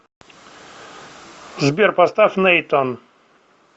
сбер поставь нейтан